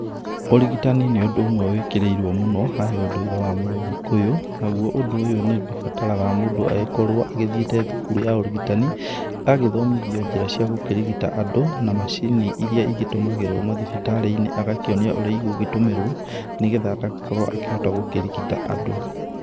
Ũrigitani nĩ ũndũ ũmwe wĩkĩkĩirwo mũno harĩ ũndũire wa mũgĩkũyũ, naguo ũndũ ũyũ nĩ ũgĩbataraga mũndũ agĩkorwo agĩthiĩte thukuru ya ũrigitani, agagĩthomithio njĩra cia gũkĩrigita andũ na macini iria ĩgĩtũmagĩrwo mathibitari-inĩ. Agakionio ũrĩa ĩgũgĩtũmĩrwo nĩgetha agagĩkorwo akĩhota gũkĩrigita andũ.